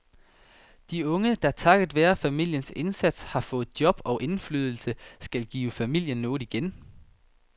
De unge, der takket være familiens indsats har fået job og indflydelse, skal give familien noget igen.